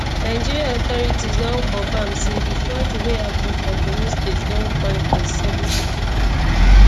nigerian authorities don confam say di flooding wey happun for borno state don kpai 37 pipo